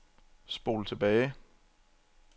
spol tilbage